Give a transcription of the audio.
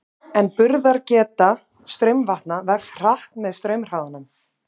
En burðargeta straumvatna vex hratt með straumhraðanum.